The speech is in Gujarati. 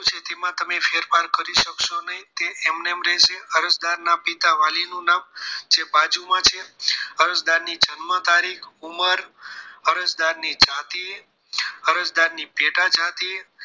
તેમાં તમે ફેરફાર કરી શકશો નહીં તે એમનેમ રહેશે અરજદાર ના પિતા વાલી નું નામ જે બાજુમાં છે અરજદાર ની જન્મ તારીખ ઉંમર અરજદારની જાતિ અરજદારની પેટા જાતિ